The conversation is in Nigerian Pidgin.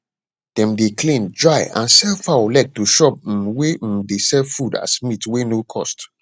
dem dey clean dry and sell fowl leg to shop um wey um dey sell food as meat wey no cost